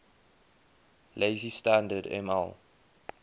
lazy standard ml